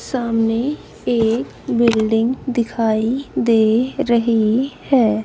सामने एक बिल्डिंग दिखाई दे रही है।